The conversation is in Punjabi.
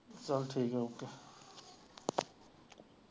ਚੱਲ ਠੀਕ ਹੈ okay